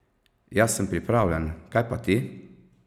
Jaz sem pripravljen, kaj pa ti?